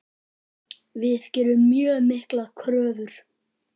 Við gerum mjög miklar kröfur.